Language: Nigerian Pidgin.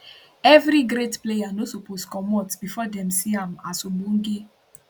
evri great player no suppose comot bifor dem see am as ogbonge